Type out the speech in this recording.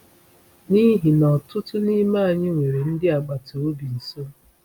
N’ihi na ọtụtụ n’ime anyị nwere ndị agbata obi nso.